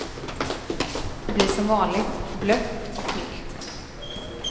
Det blir som vanligt, blött och milt.